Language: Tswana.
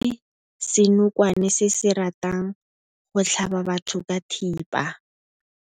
Re bone senokwane se se ratang go tlhaba batho ka thipa.